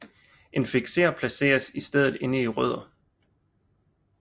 Infikser placeres i stedet inde i rødder